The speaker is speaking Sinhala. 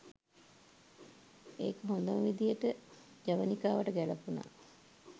ඒක හොඳම විදිහට ජවනිකාවට ගැළපුණා.